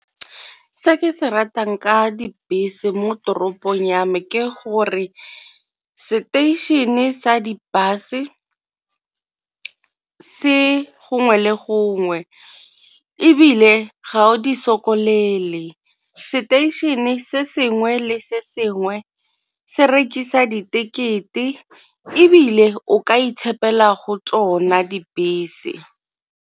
Ke se ke se ratang ka dibese mo toropong ya me ke gore seteišene sa di-bus-e se gongwe le gongwe, ebile ga o di seteišene se sengwe le sengwe se rekisa di tekete ebile o ka itshepela go tsona dibese.